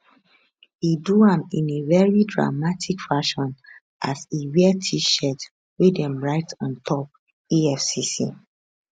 e do am in a very dramatic fashion as e wear tshirt wey dem write on top efcc